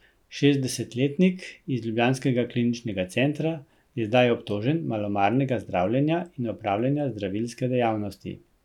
Šestdesetletnik iz ljubljanskega kliničnega centra je zdaj obtožen malomarnega zdravljenja in opravljanja zdravilske dejavnosti.